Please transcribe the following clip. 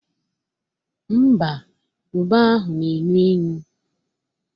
Ḿbà, ube ahụ na-enu inu